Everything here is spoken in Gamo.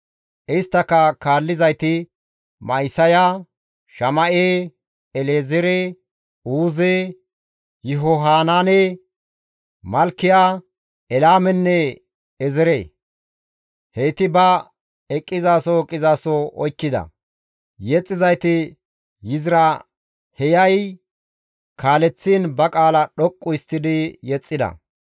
Isttaka kaallizayti Ma7isaya, Shama7e, El7ezeere, Uuze, Yihohanaane, Malkiya, Elaamenne Eezere; heyti ba eqqizaso eqqizaso oykkida; yexxizayti Yiziraaheyay kaaleththiin ba qaala dhoqqu histtidi yexxida.